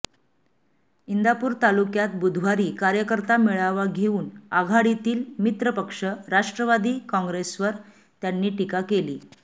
इंदापूर तालुक्यात बुधवारी कार्यकर्ता मेळावा घेऊन आघाडीतील मित्रपक्ष राष्ट्रवादी काँग्रेसवर त्यांनी टीका केली